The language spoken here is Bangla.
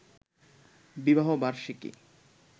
বিবাহ বার্ষিকী